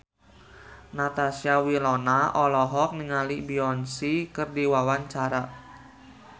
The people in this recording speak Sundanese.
Natasha Wilona olohok ningali Beyonce keur diwawancara